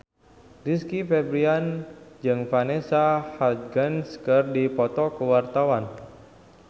Rizky Febian jeung Vanessa Hudgens keur dipoto ku wartawan